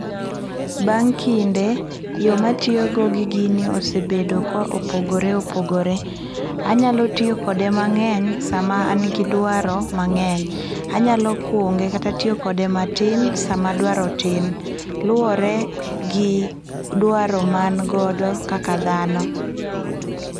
Bang' kinde, yoo ma atiyo go gi gini osebedo ka opogore opogore. Anyalo tiyo kode mangeny sama an gi dwaro mangeny, anyalo kunge kata tiyo kod matin sama dwaro tin, luore gi dwaro ma an godo kaka dhano